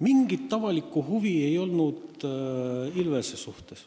Ilvese vastu ei olnud mingit avalikku huvi.